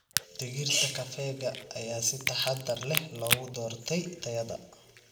Digirta kafeega ayaa si taxadar leh loogu doortay tayada.